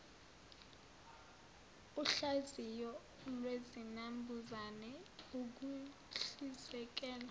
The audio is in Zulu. uhlaziyo lwezinambuzane ukuhlizekela